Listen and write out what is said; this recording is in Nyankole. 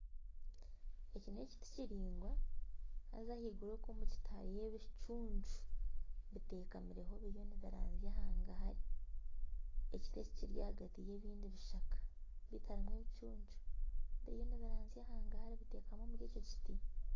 Eki n'ekiti kiraingwa haza ahaiguru okwo omu kiti hariyo ebicuncu ,bitekamireho biriyo nibiranzya hangahari, ekiti eki kiri ahagati y'ebindi bishaka ,bitu harimu ebicuncu biteekamire biriyo nibiranzya hangahari